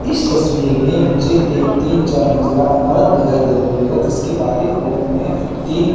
इस तस्वीर में मुझे एक तीन चार मंजिला इमारत दिखाई दे रही है जिसके बाहरी और में तीन--